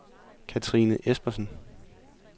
Kathrine Espersen